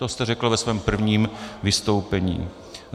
To jste řekl ve svém prvním vystoupení.